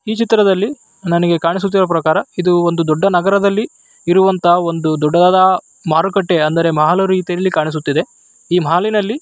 ಈ ಚಿತ್ರದಲ್ಲಿ ನನಗೆ ಕಾಣಿಸುತ್ತಿರುವ ಪ್ರಕಾರ ಇದು ಒಂದು ದೊಡ್ಡ ನಗರದಲ್ಲಿ ಇರುವಂತ ಒಂದು ದೊಡ್ಡದಾದ ಮಾರುಕಟ್ಟೆ ಮತ್ತು ಮಾಲಾಗಿ --